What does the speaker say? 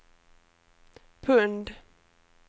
pund